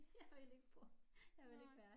Jeg vil ikke bo jeg vil ikke være